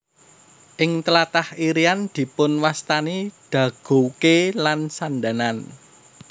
Ing tlatah Irian dipunwastani dagouke lan sandanan